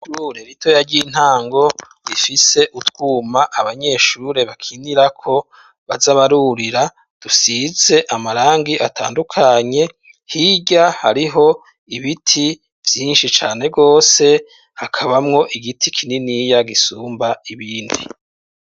Ishure ritoya ry'intango, rifise utwuma abanyeshure bakinirako baza barurira, dusize amarangi atandukanye, hirya hariho ibiti vyinshi cane gose, hakabamwo igiti kininiya gisumba ibindi.